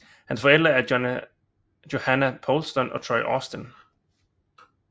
Hans forældre er Johannah Poulston og Troy Austin